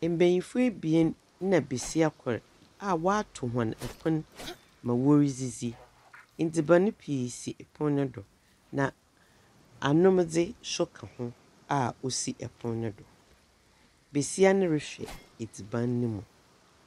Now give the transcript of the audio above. Mbayinfo ebien nna basia kor aa wotow wɔn ɛpon ma wɔredzidzi edziban pii sii ɛpon no do na anomdze so ka ho aa osi ɛpon no do basia no rehwɛ edziban no mu.